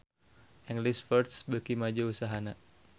English First beuki maju usahana